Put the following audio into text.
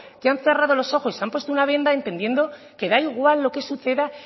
que han cerrado los ojos y se han puesto una venda entendiendo que da igual lo que suceda